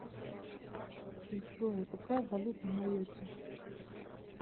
джой какая валюта в майотте